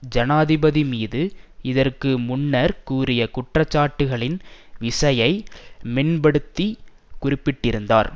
ஜனாதிபதி மீது இதற்கு முன்னர் கூறிய குற்றச்சாட்டுக்களின் விசையை மென்படுத்தி குறிப்பிட்டிருந்தார்